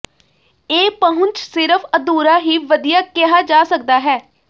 ਇਹ ਪਹੁੰਚ ਸਿਰਫ਼ ਅਧੂਰਾ ਹੀ ਵਧੀਆ ਕਿਹਾ ਜਾ ਸਕਦਾ ਹੈ